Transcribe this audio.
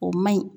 O ma ɲi